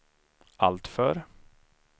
alltför